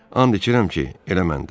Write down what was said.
And içirəm ki, elə mən də.